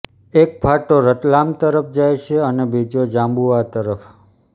એક ફાંટો રતલામ તરફ જાય છે અને બીજો ઝાબુઆ તરફ